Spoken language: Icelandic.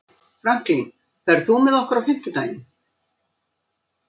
Franklin, ferð þú með okkur á fimmtudaginn?